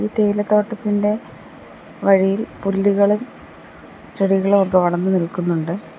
തേയില തോട്ടത്തിന്റെ വഴിയിൽ പുല്ലുകളും ചെടികളും ഒക്കെ വളർന്നു നിൽക്കുന്നുണ്ട്.